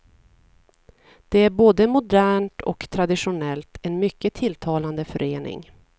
Det är både modernt och traditionellt, en mycket tilltalande förening.